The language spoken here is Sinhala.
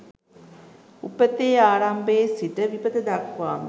උපතේ ආරම්භයේ සිට විපත දක්වාම